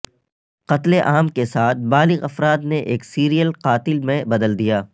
قتل عام کے ساتھ بالغ افراد نے ایک سیریل قاتل میں بدل دیا